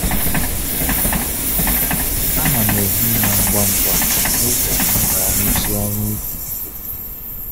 A na'm ehi ụra ngwa ngwa n’ụbọchị m ga-arụsi ọrụ ubi ike.